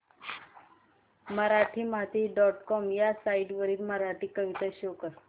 Marathimati dot com ह्या site वरील मराठी कविता शो कर